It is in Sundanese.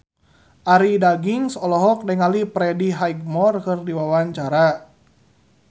Arie Daginks olohok ningali Freddie Highmore keur diwawancara